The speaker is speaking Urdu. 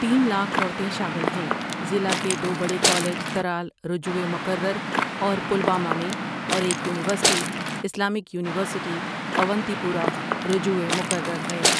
تین لاکھ عورتیں شامل ہیں ضلع کے دو بڑے کالج ترال رجوع مکرر اور پلوامہ میں اور ایک university Islamic university Awantipora رجوع مکرر ہے ۔